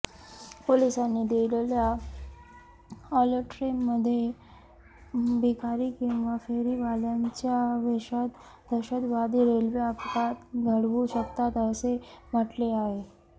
पोलिसांनी दिलेल्या अॅलर्टमध्ये भिकारी किंवा फेरीवाल्यांच्या वेशात दहशतवादी रेल्वे अपघात घडवू शकतात असे म्हटले आहे